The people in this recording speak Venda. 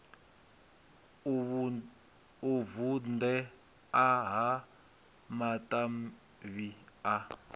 u vundea ha matavhi a